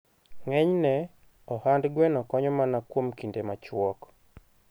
Ng'enyne, ohand gweno konyo mana kuom kinde machuok.